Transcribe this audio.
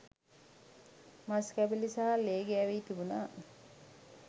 මස්කැබැලි සහ ලේ ගෑවී තිබුණා.